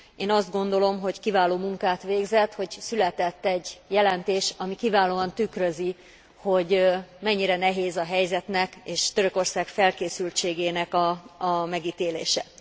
Én azt gondolom, hogy kiváló munkát végzett, hogy született egy jelentés, ami kiválóan tükrözi, hogy mennyire nehéz a helyzetnek és Törökország felkészültségének a megítélése.